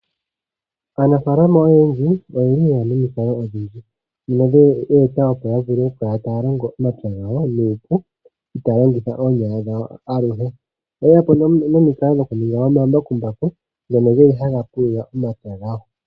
Aanafaalama oyendji oyeli yeya nomukalo odhindji opo yavule okukala taya longo omapya gawo nuupu itaya longitha oonyala dhawo aluhe, oyeyapo nee nomikalo dhoku ninga omambakumbaku ngono geli haga pulula omapya gawo.